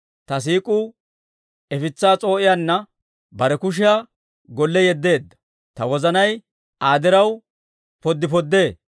Ta siik'uu ifitsaa s'oo'iyaanna bare kushiyaa golle yeddeedda; ta wozanay Aa diraw poddi poddee.